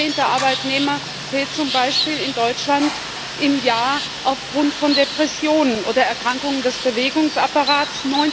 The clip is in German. Jeder zehnte Arbeitnehmer fehlt zum Beispiel in Deutschland im Jahr aufgrund von Depressionen oder Erkrankungen des Bewegungsapparats.